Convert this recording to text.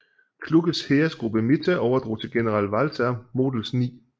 Kluges Heeresgruppe Mitte overdrog til general Walter Models 9